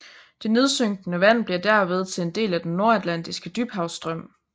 Det nedsynkende vand bliver derved til en del af den Nordatlantiske Dybhavsstrøm